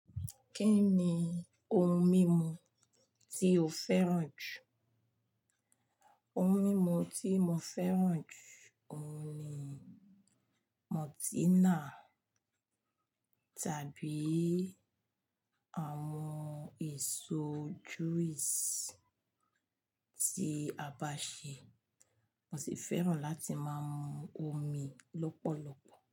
Kí ni ohun mímu tí o fẹ́ràn jù? Ohun mímu tí mo fẹ́ràn jù, òun ni Maltina tàbí àwọn èso juice tí a bá ṣe. Mo sì fẹ́ràn láti máa mu omi lọ́pọ̀lọpọ̀